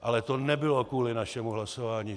Ale to nebylo kvůli našemu hlasování.